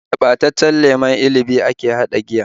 Da ɓataccen lemon inibi ake haɗa giya